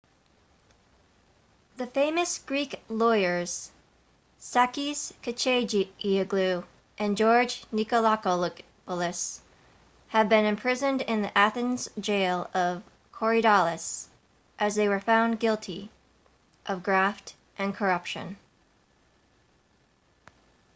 the famous greek lawyers sakis kechagioglou and george nikolakopoulos have been imprisoned in the athens' jail of korydallus as they were found guilty of graft and corruption